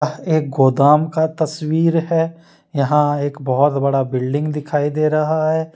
यह एक गोदाम का तस्वीर है यहां एक बहुत बड़ा बिल्डिंग दिखाई दे रहा हैं।